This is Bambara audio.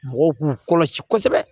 Mɔgɔw k'u kɔlɔsi kosɛbɛ